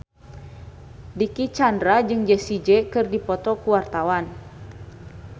Dicky Chandra jeung Jessie J keur dipoto ku wartawan